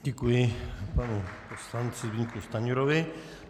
Děkuji panu poslanci Zbyňku Stanjurovi.